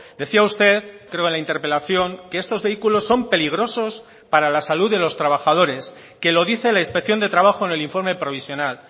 decía usted creo en la interpelación que estos vehículos son peligrosos para la salud de los trabajadores que lo dice la inspección de trabajo en el informe provisional